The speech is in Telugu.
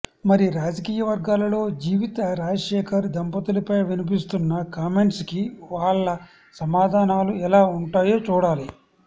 మరి రాజకీయ వర్గాలలో జీవిత రాజశేఖర్ దంపతులపై వినిపిస్తున్న కామెంట్స్ కి వాళ్ళ సమాధానాలు ఎలా ఉంటాయో చూడాలి